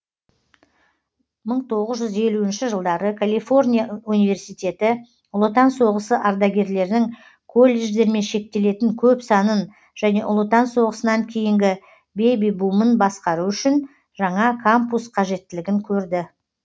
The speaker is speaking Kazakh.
мың тоғыз жүз елуінші жылдары калифорния университеті ұлы отан соғысы ардагерлерінің колледждермен шектелетін көп санын және ұлы отан соғысынан кейінгі беби бумын басқару үшін жаңа кампус қажеттілігін көрді